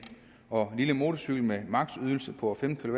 og lille motorcykel med maksimum ydelse på femten